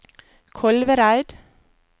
Kolvereid